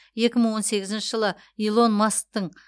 екі мың он сегізінші жылы илон масктың